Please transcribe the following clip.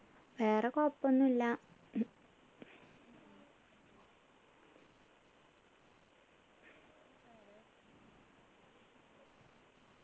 വേറെ കുഴപ്പൊന്നും ഇല്ല